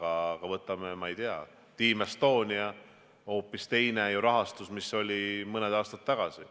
Aga võtame, ma ei tea, Team Estonia – hoopis teine rahastus ju kui see, mis oli mõni aasta tagasi.